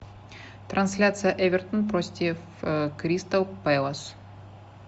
трансляция эвертон против кристал пэлас